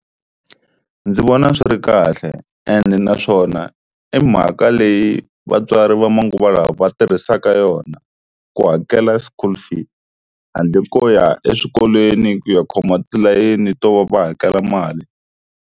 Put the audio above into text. Ndzi vona swi ri kahle ene naswona i mhaka leyi vatswari va manguva lawa va tirhisaka yona ku hakela school fees, handle ko ya eswikolweni ku ya khoma tilayeni to va hakela mali.